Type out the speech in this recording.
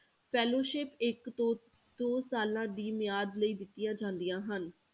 ਇੱਕ ਤੋਂ ਦੋ ਸਾਲਾਂ ਦੀ ਮਿਆਦ ਲਈ ਦਿੱਤੀਆਂ ਜਾਂਦੀਆਂ ਹਨ।